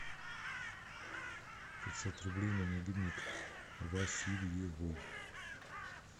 пятьсот рублей на мобильник васильевой